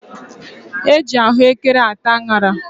E ji ahụekere ata añara.